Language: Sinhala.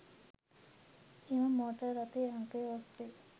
එම මෝටර් රථයේ අංකය ඔස්‌සේ